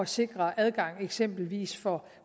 sikre adgang eksempelvis for